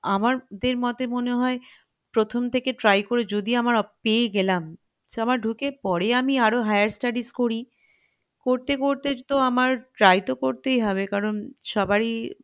আমার মতে মনে হয় প্রথম থেকে try করে যদি আমার পেয়ে গেলাম ঢুকে পরে আমি আরও higher studies করি করতে করতে তো আমার try তো করতেই হবে কারন সবারই